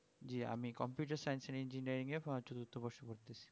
জি আমি computer science and engineering করতেছি